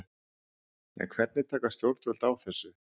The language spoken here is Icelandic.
En hvernig taka stjórnvöld þessu?